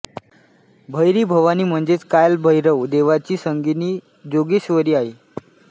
भैरी भवानी म्हणजेच काल भैरव देवाची संगिनी जोगेश्वरी आहे